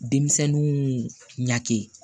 Denmisɛnninw ɲagami